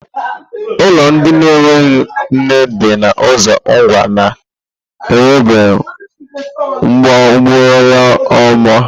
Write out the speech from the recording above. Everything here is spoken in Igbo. Ulo ndi na-enweghị nne di na uzo Ngwa na-enwebu gburugburu ọma.